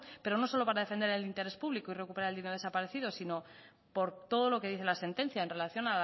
pero no solo para defender el interés público y recuperar el dinero desaparecido sino por todo lo que dice la sentencia en relación